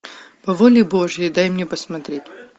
по воле божьей дай мне посмотреть